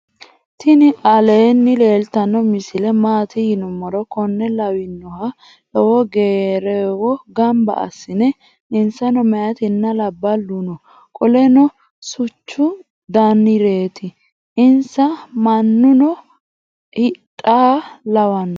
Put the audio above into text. tini alwni leltano misole maati yinumoro. kone lwlanoha lowo gerewo ganba asinoni insano mayitina labalu noo. qoleno suchu danireti. insa maanuno hidhaha lawano.